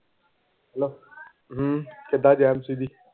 ਹਮ ਕਿੱਦਾਂ